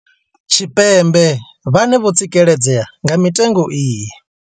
Tshipembe vhane vho tsikeledzea nga mitengo iyi.